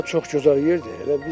Bura çox gözəl yerdir.